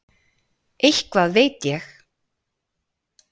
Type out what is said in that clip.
Eitthvað veit ég.